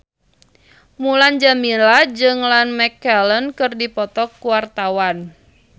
Mulan Jameela jeung Ian McKellen keur dipoto ku wartawan